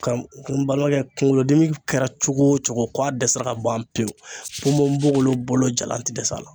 Kara n balimakɛ kunkolo dimi kɛra cogo o cogo ko a dɛsɛra ka ban pewu ponponpogolon bolo jalan te dɛsɛ a la